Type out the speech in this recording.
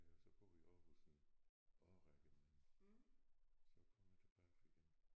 Jeg har så boet i Aarhus en årrække men så kom jeg tilbage igen